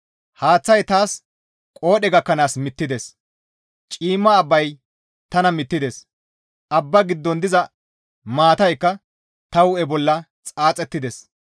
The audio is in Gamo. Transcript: «Haaththay taas qoodhe gakkanaas mittides; ciimma abbay tana mittides; abbaa giddon diza maataykka ta hu7e bolla xaaxettides.